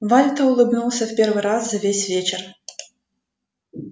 вальто улыбнулся в первый раз за весь вечер